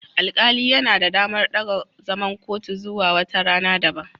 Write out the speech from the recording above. Alƙali yana da damar daga zaman kotu zuwa wata rana daban.